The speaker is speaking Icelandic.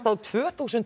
tvö þúsund